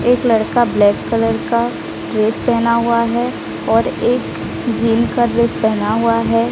एक लड़का black colour का ड्रेस पहेना हुआ है और एक जिम का ड्रेस पहना हुआ है।